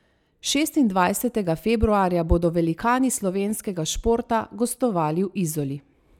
Šestindvajsetega februarja bodo Velikani slovenskega športa gostovali v Izoli.